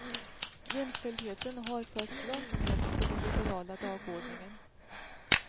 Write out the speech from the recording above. Jämställdheten har förts långt ned på den liberala dagordningen.